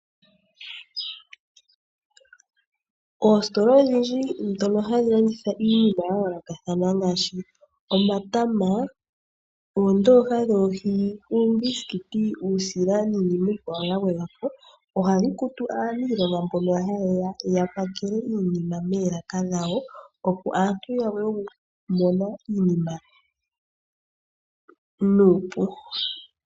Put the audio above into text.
Oositola odhindji dhono hadhi landitha iinima yayoolokathana ngaashi omatama, oondooha dhoohi, uumbisikiti, uusila niinima iikwawo ya gwedhwa po ohadhi kutu aaniilonga mbono haye ya yapakele iinima moolaka dhawo opo aantu ya vule okumona iinima nuupu.